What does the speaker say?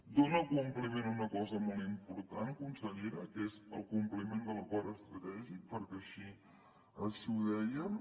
dóna compliment a una cosa molt important consellera que és el compliment de l’acord estratègic perquè així ho dèiem